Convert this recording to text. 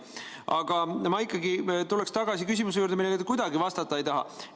Aga ma ikkagi tuleks tagasi küsimuse juurde, millele te kuidagi vastata ei taha.